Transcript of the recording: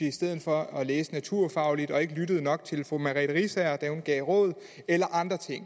i stedet for at læse noget naturfagligt og ikke lyttede nok til fru merete riisager da hun gav råd eller andre ting